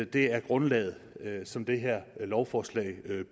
det er grundlaget som det her lovforslag